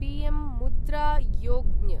PM Mudra Yojana